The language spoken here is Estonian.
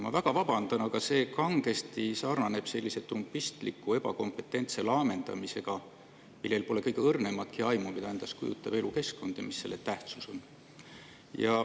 Ma väga vabandan, aga see sarnaneb kangesti ebakompetentse laamendamisega, mille puhul pole kõige õrnematki aimu, mida endast kujutab elukeskkond ja mis on selle tähtsus.